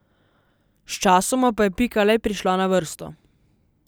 Sčasoma pa je Pika le prišla na vrsto.